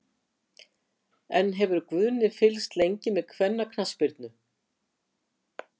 En hefur Guðni fylgst lengi með kvennaknattspyrnu?